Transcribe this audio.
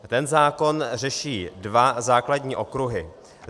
Ten zákon řeší dva základní okruhy.